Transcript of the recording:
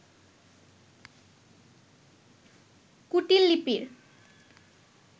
কুটীল লিপির